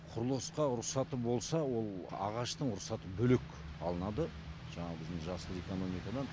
құрылысқа рұқсаты болса ол ағаштың рұқсаты бөлек алынады жаңағы біздің жасыл экономикадан